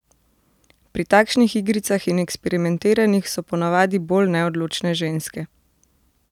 Pri takšnih igricah in eksperimentiranjih so po navadi bolj neodločne ženske.